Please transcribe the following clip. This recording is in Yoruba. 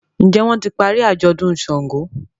Njé wón tí parí ajọdun ṣàngó?